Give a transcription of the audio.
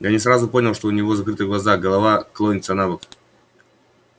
я не сразу понял что у него закрыты глаза голова клонится набок